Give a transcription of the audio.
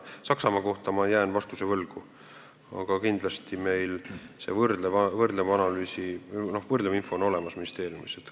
Saksamaa kohta ma jään vastuse võlgu, aga kindlasti on see võrdlev info meil ministeeriumis olemas.